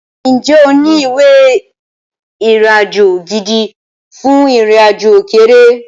Ǹjẹ́ o ní ìwé ìrìnàjò gidi fún ìrìnàjò òkèèrè?